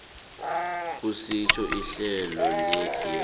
kusitjho ihlelo legear